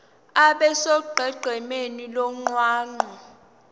abe sonqenqemeni lomgwaqo